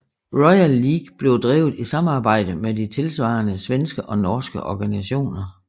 Royal League blev drevet i samarbejde med de tilsvarende svenske og norske organisationer